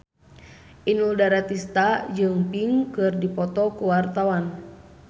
Inul Daratista jeung Pink keur dipoto ku wartawan